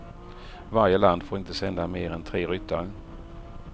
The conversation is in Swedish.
Varje land får inte sända mer än tre ryttare.